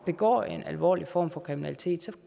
begår en alvorlig form for kriminalitet så